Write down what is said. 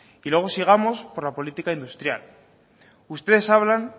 y luego sigamos por la política industrial ustedes hablan